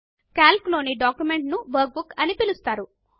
కల్క్ లోని డాక్యుమెంట్ ను workbook అని పిలుస్తారు